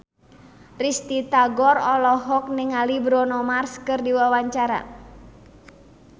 Risty Tagor olohok ningali Bruno Mars keur diwawancara